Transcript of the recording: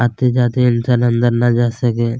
आते जाते इन्सान अंदर ना जा सके।